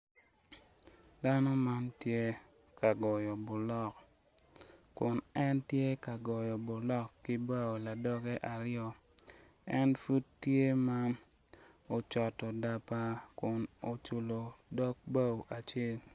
Dano man tye ka goyo bulok kun en tye ka goyo blok ku bao ladoge aryo en pud tye ma ocoto daba kun oculo dog bao acel.